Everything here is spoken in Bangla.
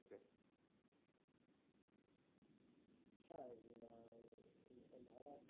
হ্যাঁ ভাড়া